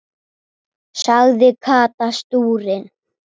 sagði Kata stúrin.